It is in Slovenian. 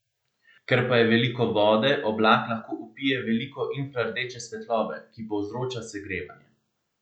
Ker pa je veliko vode, oblak lahko vpije veliko infrardeče svetlobe, ki povzroča segrevanje.